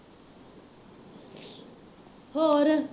ਹੋਰ